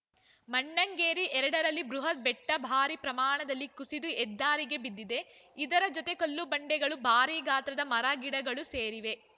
ಮಣ್ಣೆಂಗೇರಿ ಎರಡ ರಲ್ಲಿ ಬೃಹತ್‌ ಬೆಟ್ಟಭಾರಿ ಪ್ರಮಾಣದಲ್ಲಿ ಕುಸಿದು ಹೆದ್ದಾರಿಗೆ ಬಿದ್ದಿದೆ ಇದರ ಜೊತೆ ಕಲ್ಲುಬಂಡೆಗಳು ಭಾರಿ ಗಾತ್ರದ ಮರ ಗಿಡಗಳೂ ಸೇರಿವೆ